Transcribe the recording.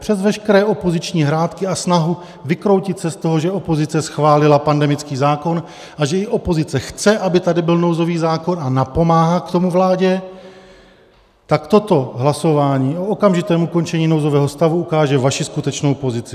Přes veškeré opoziční hrátky a snahu vykroutit se z toho, že opozice schválila pandemický zákon a že i opozice chce, aby tady byl nouzový zákon, a napomáhá k tomu vládě, tak toto hlasování o okamžitém ukončení nouzového stavu ukáže vaši skutečnou pozici.